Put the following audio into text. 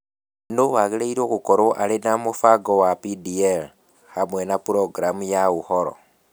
Nũũ wagĩrĩirũo gũkorũo arĩ na mũbango wa DPL, hamwe na programu na ũhoro?